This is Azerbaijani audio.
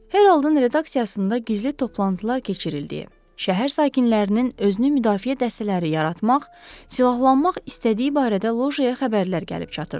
Haroldun redaksiyasında gizli toplantılar keçirildiyi, şəhər sakinlərinin özünü müdafiə dəstələri yaratmaq, silahlanmaq istədiyi barədə Lojaya xəbərlər gəlib çatırdı.